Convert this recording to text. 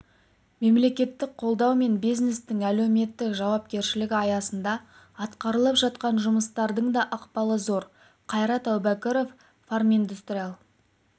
мемлекеттік қолдау мен бизнестің әлеуметтік жауапкершілігі аясында атқарылып жатқан жұмыстардың да ықпалы зор қайрат әубәкіров фарминдустрия